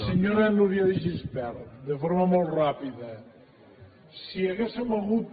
senyora núria de gispert de forma molt ràpida si haguéssim hagut